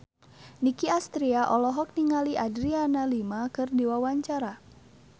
Nicky Astria olohok ningali Adriana Lima keur diwawancara